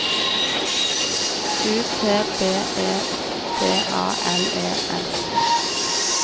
U T B E T A L E S